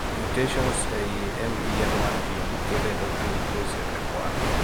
Mutations ee ii MEN 1 gene kelo endocrine neoplasia type 1